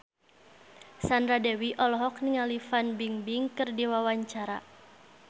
Sandra Dewi olohok ningali Fan Bingbing keur diwawancara